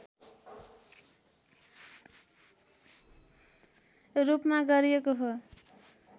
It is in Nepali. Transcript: रूपमा गरिएको हो